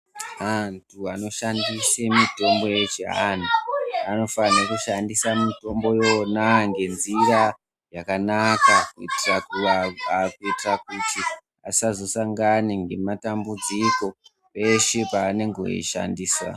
Antu anoshandise mitombo yechi antu, anofani kushandisa mitombo yona ngenzira yakanaka kuitira kuti asazosangane ngematambudziko eshe pa anenge oyishandisa.